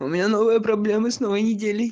у меня новые проблемы с на войне